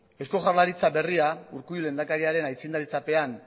eusko jaurlaritza berria urkullu lehendakariaren aintzindaritzapean